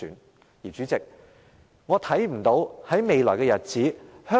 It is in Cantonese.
代理主席，我看不見香港在未來日子......